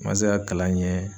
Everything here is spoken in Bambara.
N ma se ka kalan ɲɛ